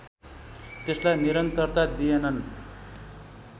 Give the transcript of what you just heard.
त्यसलाई निरन्तरता दिएनन्